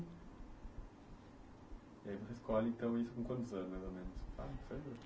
E aí você escolhe, então, isso com quantos anos, mais ou menos?